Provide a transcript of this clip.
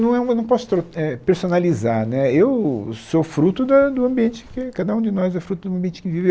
Não é um eu não posso eh personalizar né, eu sou fruto da do ambiente que, cada um de nós é fruto do ambiente que vive.